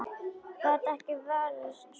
Gat ekki varist brosi.